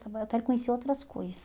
agora Eu quero conhecer outras coisa.